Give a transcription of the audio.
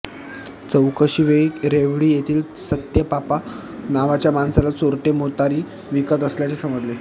चौकशीवेळी रेवडी येथील सत्याप्पा नावाच्या माणसाला चोरटे मोटारी विकत असल्याचे समजले